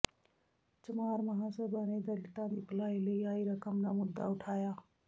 ਚਮਾਰ ਮਹਾਂ ਸਭਾ ਨੇ ਦਲਿਤਾਂ ਦੀ ਭਲਾਈ ਲਈ ਆਈ ਰਕਮ ਦਾ ਮੁੱਦਾ ਉਠਾਇਆ